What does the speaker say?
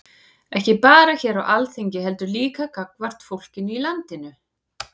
Ekki bara hér á Alþingi heldur líka gagnvart fólkinu í landinu?